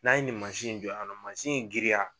N'an ye nin mansin in jɔ yan nɔ mansin in giriya.